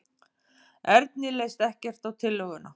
Erni leist ekkert á tillöguna.